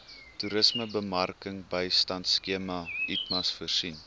toerismebemarkingbystandskema itmas voorsien